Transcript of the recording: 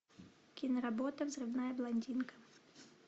киноработа взрывная блондинка